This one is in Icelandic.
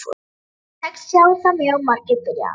Sjötíu og sex sjá það mjög margir, byrjaði hann.